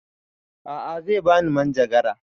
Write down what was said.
A'a zai bani manjagara